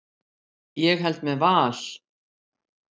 Ég held með Val.